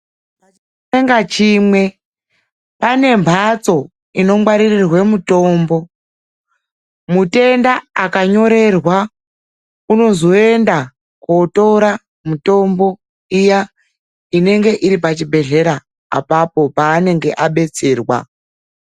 Chibhedhlera chimwe nachimwe pane mhatso inongwaririrwe mitombo. Mutenda akanyorerwa ,anozoenda kotora mitombo iya inenge iri pachibhedhlera apapo paanenge abetserwa.